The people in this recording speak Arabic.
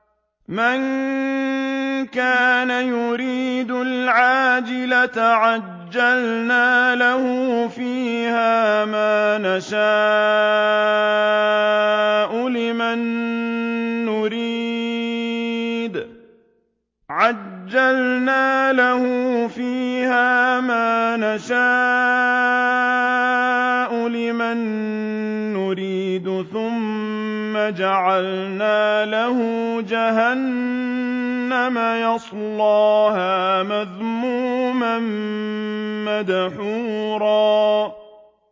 مَّن كَانَ يُرِيدُ الْعَاجِلَةَ عَجَّلْنَا لَهُ فِيهَا مَا نَشَاءُ لِمَن نُّرِيدُ ثُمَّ جَعَلْنَا لَهُ جَهَنَّمَ يَصْلَاهَا مَذْمُومًا مَّدْحُورًا